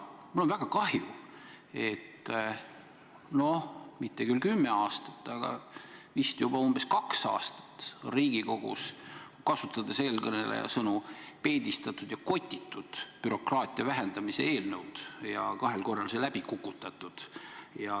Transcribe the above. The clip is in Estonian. Mul on väga kahju, et mitte küll kümme aastat, aga vist juba umbes kaks aastat on Riigikogus, kasutades eelkõneleja sõnu, peedistatud ja kotitud bürokraatia vähendamise eelnõu ning kahel korral on see läbi kukutatud.